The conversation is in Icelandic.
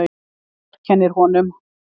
Þú vorkennir honum.